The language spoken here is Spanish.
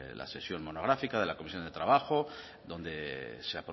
la sesión monográfica de la comisión de trabajo donde se